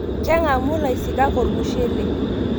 Keng'amu ilaisikak Ormushele